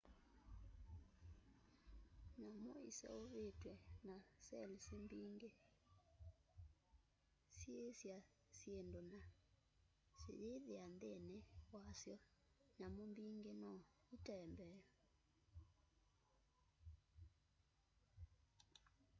nyamũ ĩseũvĩtwe n cells mbĩngĩ.syĩĩsa syĩndũ na sĩyĩthĩa nthĩnĩ wa syo.nyamũ mbĩngĩ no ĩtembee